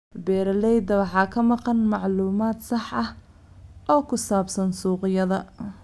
Beeralayda waxaa ka maqan macluumaad sax ah oo ku saabsan suuqyada.